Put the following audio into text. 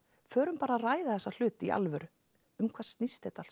förum bara að ræða þessa hluti í alvöru um hvað snýst þetta allt